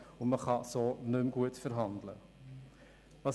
So kann nicht mehr gut verhandelt werden.